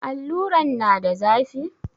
Alluran na da zafi?